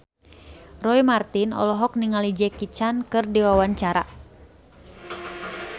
Roy Marten olohok ningali Jackie Chan keur diwawancara